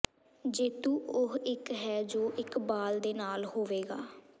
ਜੇਤੂ ਉਹ ਇੱਕ ਹੈ ਜੋ ਇੱਕ ਬਾਲ ਦੇ ਨਾਲ ਹੋਵੇਗਾ